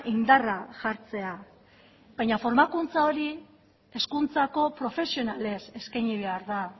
indarra jartzea baina formakuntza hori hezkuntzako profesionalez eskaini behar da